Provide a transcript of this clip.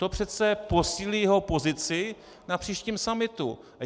To přece posílí jeho pozici na příštím summitu.